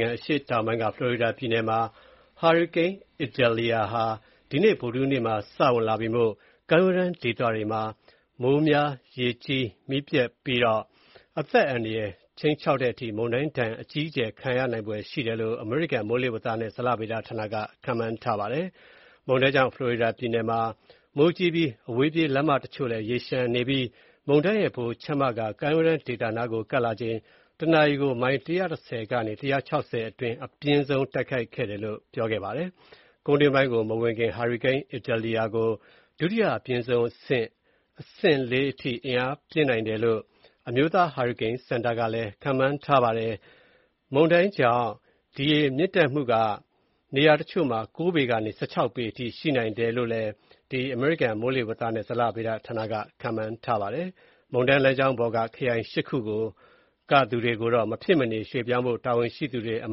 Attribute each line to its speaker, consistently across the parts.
Speaker 1: င်စု အရှေ့တောင်ပိုင်းက ဖလော်ရီဒါပြည်နယ်မှာ ဟာရီကိန်း Idalia ဒီနေ့ ဗုဒ္ဓဟူးနေ့မှာ ဝင်မှာ ဖြစ်တာကြောင့် ကမ်းရိုးတန်းဒေသတွေမှာ မိုးများ ရေကြီးမှုနဲ့ မုန်တိုင်းဒဏ်အကြီးအကျယ်ခံရနိုင်ဖွယ်ရှိကြောင်း အမေရိကန် မိုးလေဝသနဲ့ဇလဗေဒဌာနက ခန့်မှန်းထားပါတယ်။ မုန်တိုင်းကြောင့် ဖလော်ရီဒါပြည်နယ်မှာ မိုးကြီးပြီး မုန်တိုင်းရဲ့ ဗဟိုချက်မက ကမ်းရိုးတန်းဒေသနားကို ကပ်လာချိန် တနာရီကို ၁၀၈ မိုင်လောက် အပြင်းဆုံး တိုက်ခတ်နိုင်တယ်လို့ ခန့်မှန်းထားပါတယ်။ ကုန်းတွင်းပိုင်းကိုမဝင်ခင် ဟာရီကိန်း Idalia ကို ဒုတိယအပြင်းဆုံးအဆင့် အဆင့် ၄ အထိ အားပြင်းနိုင်တယ်လို့ အမျိုးသားဟာရီကိန်းစင်တာက ခန့်မှန်းထားပါတယ်။ မုန်တိုင်းလမ်းကြောင်းပေါ်က နေရာတွေမှာ မိုးရေချိန် ၉ ပေကနေ ၁၆ ပေအထိ ရှိနိုင်တယ်လို့လည်း ခန့်မှန်းထားပါတယ်။ မုန်တိုင်းလမ်းကြောင်းပေါ်က ခရိုင် ၈ ခု ကသူတွေကိုတော့ မဖြစ်မနေ ပြောင်းရွှေ့ဖို့ တာဝန်ရှိသူတွေက အ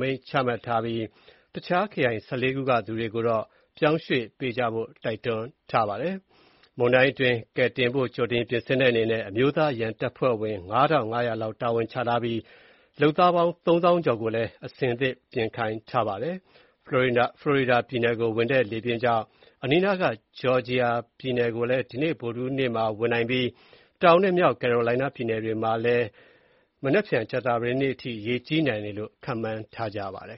Speaker 1: မိန့်ချထားပြီး တခြားခရိုင် ၁၄ ခုက သူတွေကိုတော့ ပြောင်းရွှေ့ကြဖို့ တိုက်တွန်းထားပါတယ်။ မုန်တိုင်းတွင်း ကယ်တင်ဖို့ ကြိုတင်ပြင်ဆင်တဲ့အနေနဲ့ အမျိုးသားအရံတပ်ဖွဲ့ အယောက် ၅၅၀၀ လောက် တာဝန်ချထားပြီးဖြစ်ပြီး လုပ်သား အယောက် ၃၀၀၀၀ ကျော်ကိုလည်း အဆင်သင့် ပြင်ခိုင်းထားပါတယ်။ ဖလော်ဒါပြည်နယ်ကို ဝင်တဲ့ လေပြင်းကြောင့် အနီးအနားက ဂျော်ဂျီယာပြည်နယ်ကိုလည်း ဒီနေ့ ဗုဒ္ဓဟူးနေ့မှာ ဝင်နိုင်ပြီး တောင်နဲ့မြောက်ကယ်ရိုလိုင်းနားပြည်နယ်တွေမှာလည်း ကြာသပတေးနေ့အထိ ရေကြီးနိုင်တယ်လို့ ခန့်မှန်းထားကြပါတယ်